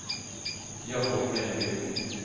Jakob Melby